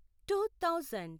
to thousand